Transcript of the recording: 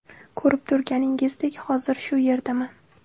Ko‘rib turganingizdek, hozir shu yerdaman.